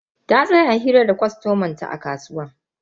Ta tsaya hira da kwastoman ta a kasuwa.